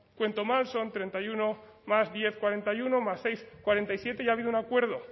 cuento mal son treinta y uno más diez cuarenta y uno más seis cuarenta y siete y ha habido un acuerdo